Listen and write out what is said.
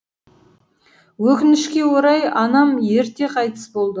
өкінішке орай анам ерте қайтыс болды